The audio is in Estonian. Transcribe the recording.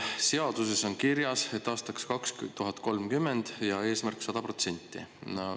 Seaduses on kirjas, et aastaks 2030 ja eesmärk 100%.